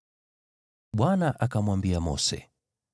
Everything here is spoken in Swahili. Bwana akamwambia Mose,